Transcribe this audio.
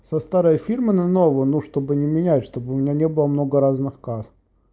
со старой фирмы на новую ну чтобы не менять чтобы у меня не было много разных касс